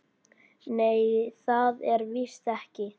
Nei, það er víst ekki.